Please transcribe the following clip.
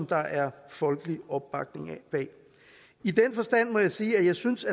der er folkelig opbakning bag i den forstand må jeg sige at jeg synes